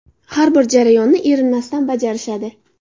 Har bir jarayonini erinmasdan bajarishadi.